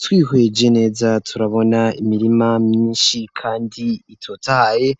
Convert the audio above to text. Twihweje neza turabona imirima myinshi kandi itotahaye.